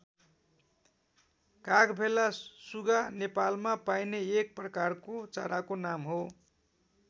कागभेला सुगा नेपालमा पाइने एक प्रकारको चराको नाम हो।